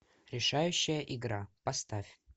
решающая игра поставь